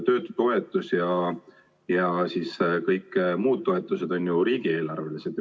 Töötutoetus ja kõik muud toetused on ju riigieelarvelised.